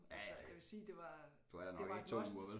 Altså jeg vil sige det var det var et must